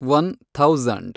one thousand